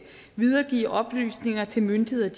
videregive oplysninger til myndighederne